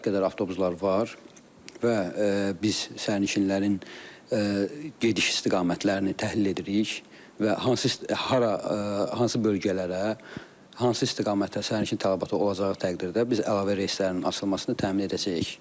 Kifayət qədər avtobuslar var və biz sərnişinlərin gediş istiqamətlərini təhlil edirik və hara hansı bölgələrə, hansı istiqamətə sərnişin tələbatı olacağı təqdirdə biz əlavə reyslərin açılmasını təmin edəcəyik.